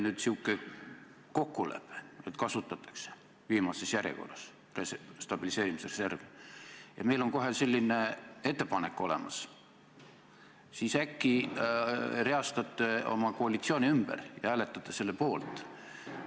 Kui see oli kokkulepe, et stabiliseerimisreservi kasutatakse viimases järjekorras ja meil on kohe selline ettepanek olemas, siis äkki reastate oma koalitsiooni ümber ja hääletate selle poolt?